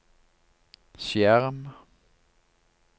skjerm